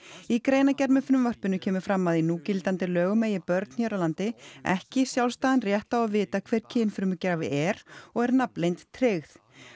í greinargerð með frumvarpinu kemur fram að í núgildandi lögum eigi börn hér á landi ekki sjálfstæðan rétt á að vita hver kynfrumugjafi er og er nafnleynd tryggð